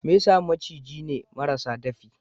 Mesa maciji ne marasa dafi.